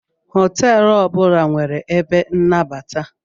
Hotelu ọbula nwere ebe nnabata.